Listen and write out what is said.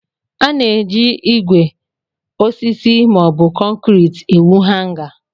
A na-eji ígwè, osisi, maọbụ konkriiti ewu Hanga.